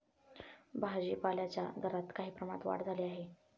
भाजीपाल्याच्या दरांत काही प्रमाणात वाढ झाली आहे.